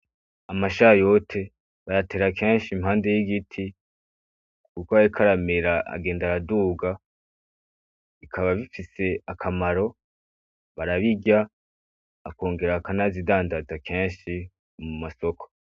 Amashayote bayatera kenshi impande y'igiti, uko ariko aramera agenda aduga bikaba bifise akamaro, barabirya bakongera bakanazidandaza kenshi mu masoko.